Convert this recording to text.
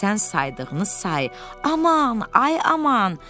Sən saydığın saysız, aman, ay aman!